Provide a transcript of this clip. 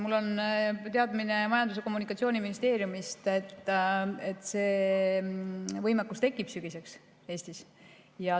Mul on teadmine Majandus‑ ja Kommunikatsiooniministeeriumist, et see võimekus Eestis sügiseks tekib.